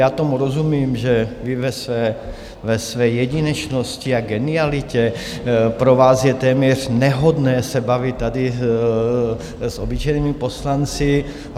Já tomu rozumím, že vy ve své jedinečnosti a genialitě, pro vás je téměř nehodné se tady bavit s obyčejnými poslanci.